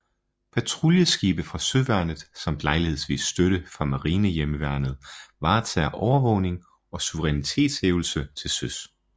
Patruljeskibe fra søværnet samt lejlighedsvis støtte fra Marinehjemmeværnet varetager overvågning og suverænitetshævdelse til søs